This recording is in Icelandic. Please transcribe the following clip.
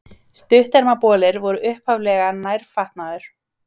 Stuttermabolir voru upphaflega nærfatnaður.